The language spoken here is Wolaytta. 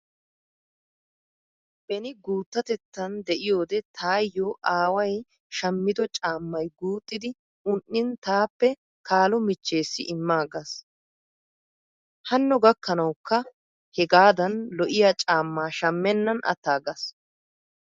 Beni guuttatettan de"iyoodee tayyo aaway shammido caammay guuxxidi un"in taappe kaalo michcheessi immaagaas. Hanno gakkanawukka hegadan lo"iyaa caamma shammennan attaaggaas.